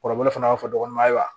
Kɔrɔbɔrɔ fana b'a fɔ dɔgɔnuman ye wa